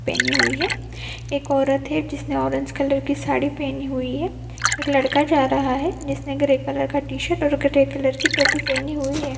पहनी हुई है एक औरत है जिसने ऑरेंज कलर की साड़ी पहनी हुई है एक लड़का जा रहा है जिसने ग्रे कलर का टि-शर्ट और ग्रे कलर की टोपी पहनी हुई है।